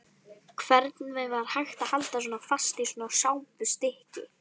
Hvernig var hægt að halda fast í svona sápustykki!